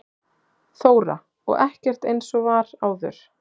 Þóra: Og ekkert eins og var áður?